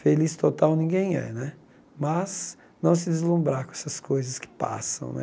Feliz total ninguém é né, mas não se deslumbrar com essas coisas que passam né.